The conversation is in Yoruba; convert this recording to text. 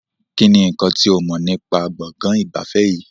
Kínní nkán tí o mọ̀ nípa gbọ̀ngàn ìgbafẹ́ yìí?